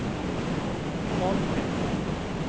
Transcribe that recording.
folkets